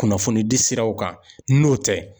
Kunnafoni di siraw kan n'o tɛ